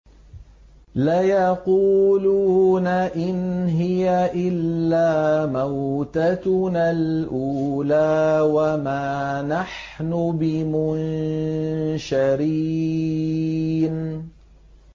إِنْ هِيَ إِلَّا مَوْتَتُنَا الْأُولَىٰ وَمَا نَحْنُ بِمُنشَرِينَ